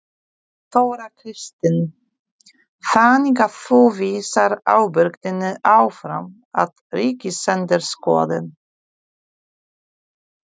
Þóra Kristín: Þannig að þú vísar ábyrgðinni áfram á Ríkisendurskoðun?